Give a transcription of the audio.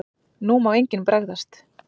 NÚ MÁ ENGINN BREGÐAST!